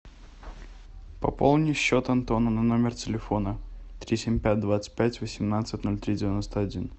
пополни счет антона на номер телефона три семь пять двадцать пять восемнадцать ноль три девяносто один